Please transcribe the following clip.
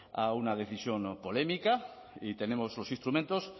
a una decisión polémica y tenemos los instrumentos